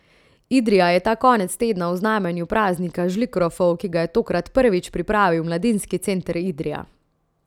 Idrija je ta konec tedna v znamenju praznika žlikrofov, ki ga je tokrat prvič pripravil Mladinski center Idrija.